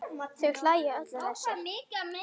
Þau hlæja öll að þessu.